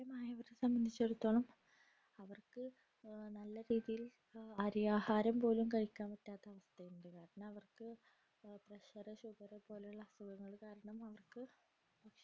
പ്രയമായവരുടെ സംബന്ധിച്ചിടത്തോളം അവർക്ക് നല്ല രീതിയിൽ അരി ആഹാരം പോലും കഴിക്കാൻ പറ്റാത്ത അവസ്ഥയുണ്ട് കാരണം അവർക്കു pressure sugar പോലുള്ള അസുഖങ്ങൾ കാരണം അവർക്കു